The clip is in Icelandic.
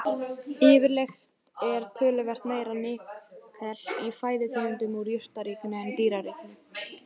Yfirleitt er töluvert meira nikkel í fæðutegundum úr jurtaríkinu en dýraríkinu.